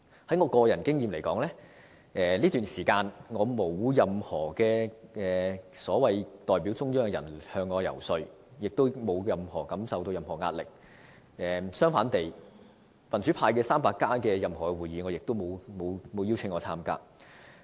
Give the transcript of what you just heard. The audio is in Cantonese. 以我個人經驗來說，在這段時間，沒有任何所謂代表中央的人員向我遊說，我沒有感受到任何壓力，而"民主 300+" 的任何會議，我也沒有獲邀參加。